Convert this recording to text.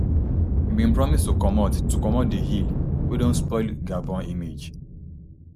e bin promise to comot to comot di ill wey don spoil gabon image